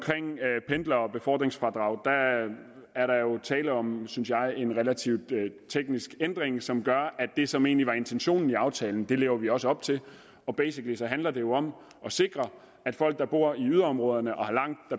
pendlere og befordringsfradrag er der tale om synes jeg en relativt teknisk ændring som gør at det som egentlig var intentionen i aftalen lever vi også op til og basically handler det jo om at sikre folk der bor i yderområderne og har langt